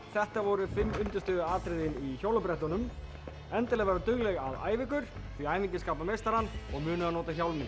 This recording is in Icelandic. þetta voru fimm undirstöðuatriðin í hjólabrettunum endilega vera dugleg að æfa ykkur því æfingin skapar meistarann og munið að nota hjálminn